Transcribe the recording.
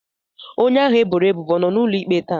Onye ahụ e boro ebubo ọ nọ n'ụlọ ikpe taa?